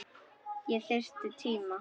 Ég þyrfti tíma.